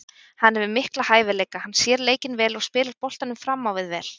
Hann hefur mikla hæfileika, hann sér leikinn vel og spilar boltanum fram á við vel.